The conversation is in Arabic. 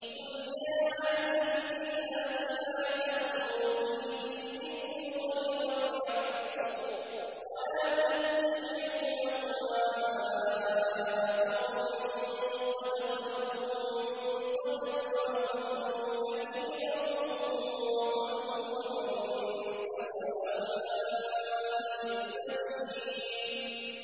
قُلْ يَا أَهْلَ الْكِتَابِ لَا تَغْلُوا فِي دِينِكُمْ غَيْرَ الْحَقِّ وَلَا تَتَّبِعُوا أَهْوَاءَ قَوْمٍ قَدْ ضَلُّوا مِن قَبْلُ وَأَضَلُّوا كَثِيرًا وَضَلُّوا عَن سَوَاءِ السَّبِيلِ